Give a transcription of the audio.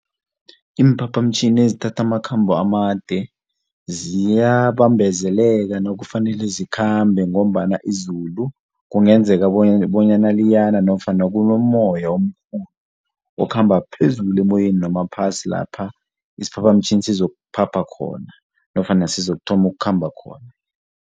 Iimphaphamtjhini ezithatha amakhambo amade ziyabambezeleka nakufanele zikhambe ngombana izulu kungenzeka bonyana liyana nofana kunomoya omkhulu okhamba phezulu emoyeni noma phasi lapha isphaphamtjhini sizokuphapha khona nofana sizokuthoma ukhamba khona.